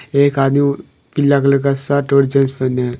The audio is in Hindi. एक आदमी पीला कलर का शर्ट और जीन्स पहने है।